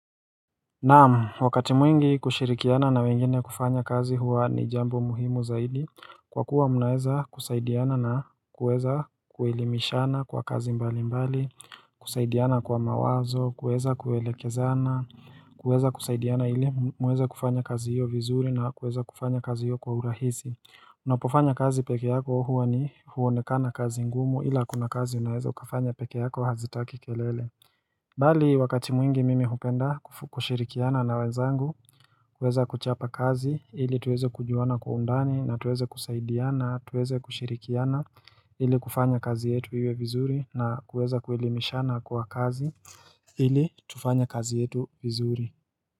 Naam, wakati mwingi kushirikiana na wengine kufanya kazi huwa ni jambo muhimu zaidi Kwa kuwa munaeza kusaidiana na kueza kuwelimishana kwa kazi mbali mbali kusaidiana kwa mawazo, kueza kuelekezana, kueza kusaidiana ili mweze kufanya kazi hiyo vizuri na kueza kufanya kazi hiyo kwa urahisi Unapofanya kazi peke yako huwa ni huonekana kazi ngumu ila kuna kazi unaeza kufanya peke yako hazitaki kelele Bali wakati mwingi mimi hukenda kushirikiana na wanzangu, kuweza kuchapa kazi, ili tuweze kujuana kwa undani na tuweze kusaidiana, tuweze kushirikiana, ili kufanya kazi yetu iwe vizuri na kuweza kuwelimishana kwa kazi, ili tufanya kazi yetu vizuri.